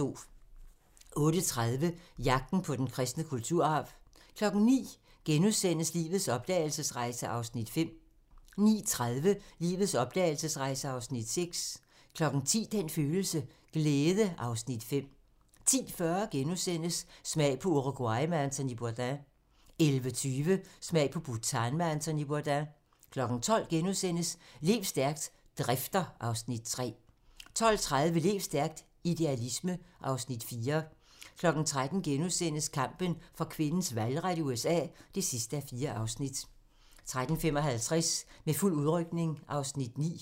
08:30: Jagten på den kristne kulturarv 09:00: Lives opdragelsesrejse (Afs. 5)* 09:30: Lives opdragelsesrejse (Afs. 6) 10:00: Den følelse: Glæde (Afs. 5) 10:40: Smag på Uruguay med Anthony Bourdain * 11:20: Smag på Bhutan med Anthony Bourdain 12:00: Lev stærkt - Drifter (Afs. 3)* 12:30: Lev stærkt - Idealisme (Afs. 4) 13:00: Kampen for kvinders valgret i USA (4:4)* 13:55: Med fuld udrykning (Afs. 9)